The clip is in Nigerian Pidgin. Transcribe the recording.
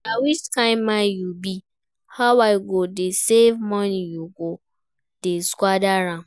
Na which kin man you be? How I go dey save money you go dey squander am